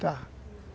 Tá.